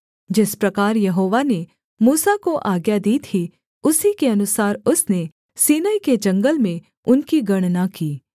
जिस प्रकार यहोवा ने मूसा को आज्ञा दी थी उसी के अनुसार उसने सीनै के जंगल में उनकी गणना की